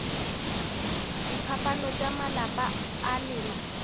diphapano tša malapa a lena